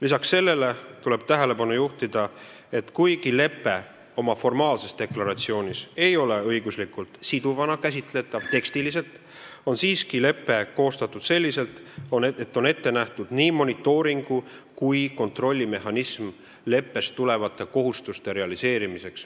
Lisaks sellele tuleb tähelepanu juhtida, et kuigi lepe oma formaalses deklaratsioonis ei ole tekstiliselt käsitletav õiguslikult siduvana, on lepe siiski koostatud selliselt, et on ette nähtud nii monitooringu- kui ka kontrollimehhanism leppest tulenevate kohustuste realiseerimiseks.